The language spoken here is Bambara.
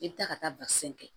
I bɛ taa ka taa basɛn kɛ